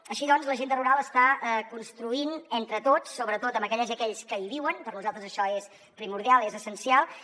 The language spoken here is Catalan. així doncs l’agenda rural està construint entre tots sobretot amb aquelles i aquells que hi viuen per nosaltres això és primordial és essencial